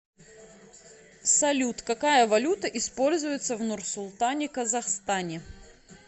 салют какая валюта используется в нурсултане казахстане